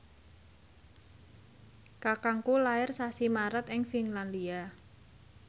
kakangku lair sasi Maret ing Finlandia